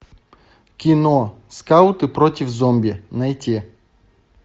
кино скауты против зомби найти